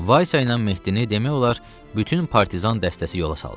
Vaysa ilə Mehdini demək olar bütün partizan dəstəsi yola saldı.